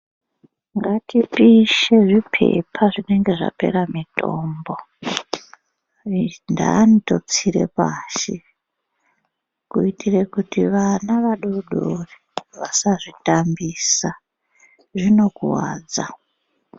Ngatipishe zvipepa zvinenge zvapera mitombo zvintani totsire pashi kuitire kuti vana vadodori vasazvitambisa zvinokuwadza.